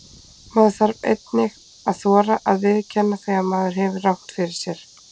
Maður þarf einnig að þora að viðurkenna þegar maður hefur rangt fyrir sér.